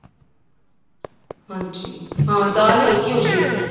ਹਾਂਜੀ ਹਾਂ ਦਾਲ ਹਲਕੀ ਹੋਜੇਗੀ ਫ਼ੇਰ